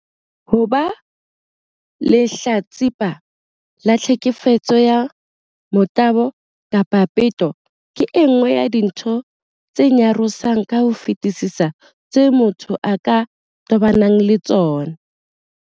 Ho ba lehlatsipa la tlheke fetso ya motabo kapa peto ke e nngwe ya dintho tse nyarosang ka ho fetisisa tseo motho a ka tobanang le tsona.